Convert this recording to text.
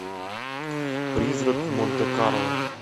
призрак в монте карло